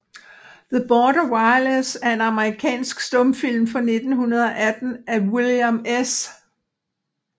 The Border Wireless er en amerikansk stumfilm fra 1918 af William S